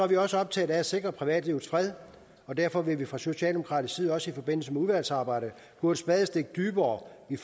vi også optaget af at sikre privatlivets fred og derfor vil vi fra socialdemokratisk side også i forbindelse med udvalgsarbejdet gå et spadestik dybere i